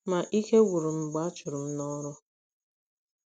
Ma, ike gwụrụ m mgbe a a chụrụ m n’ọrụ.